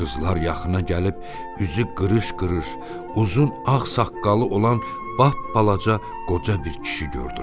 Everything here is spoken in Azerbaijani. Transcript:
Qızlar yaxına gəlib üzü qırış-qırış, uzun ağ saqqalı olan bap balaca qoca bir kişi gördülər.